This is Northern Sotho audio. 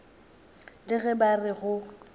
le ge ba re go